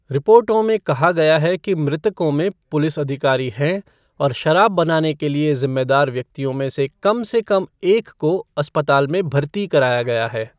रिपोर्टों में कहा गया है कि मृतकों में पुलिस अधिकारी हैं, और शराब बनाने के लिए जिम्मेदार व्यक्तियों में से कम से कम एक को अस्पताल में भर्ती कराया गया है।